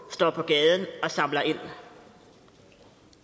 står på gaden og samler ind